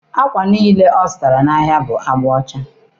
Akwa niile ọ zụrụ n'ahịa bụ agba ọcha.